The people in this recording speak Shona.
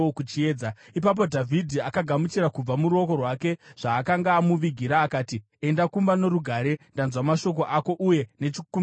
Ipapo Dhavhidhi akagamuchira kubva muruoko rwake zvaakanga amuvigira akati, “Enda kumba norugare. Ndanzwa mashoko ako uye nechikumbiro chako.”